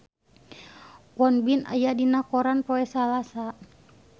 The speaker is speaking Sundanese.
Won Bin aya dina koran poe Salasa